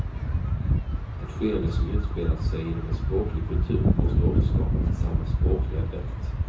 Ett skeende som utspelat sig inom en språklig kultur måste återskapas i samma språkliga dräkt.